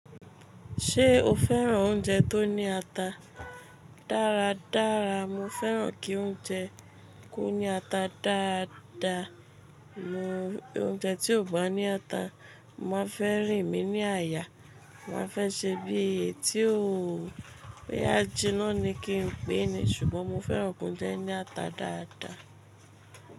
Ṣé o fẹ́ràn oúnjẹ tó ní ata? Dáradára, mo fẹ́ràn kí oúnjẹ ko ní ata dáadaa. Mo oúnjẹ tí ò bá ní ata, màá fẹ́ rìn mí ní àyà, màá fẹ́ ṣe bí èéyí tí òó boya jínà ni kín pè é ni. Ṣùgbọ́n mo fẹ́ràn ki oúnjẹ ní ata dáadaa.